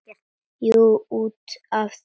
Jú, út af þessu.